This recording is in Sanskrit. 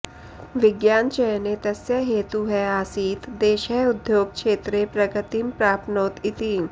विज्ञानचयने तस्य हेतुः आसीत् देशः उद्योगक्षेत्रे प्रगतिं प्राप्नोत् इति